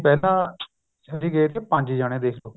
ਪਹਿਲਾਂ ਅਸੀਂ ਗਏ ਸੀ ਪੰਜ ਜਾਣੇ ਦੇਖਲੋ